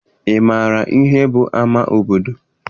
Ị maara ihe bụ ama obodo?